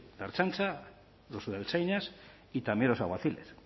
la ertzaintza los subertzainas y también los alguaciles